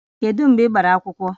Kedu mgbe ị gbara akwụkwọ?